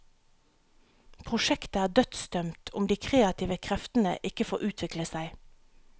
Prosjektet er dødsdømt om de kreative kreftene ikke får utvikle seg.